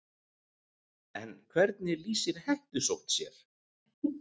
En hvernig lýsir hettusótt sér?